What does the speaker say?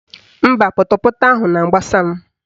Mba, pọtọpọtọ ahụ na-agbasa m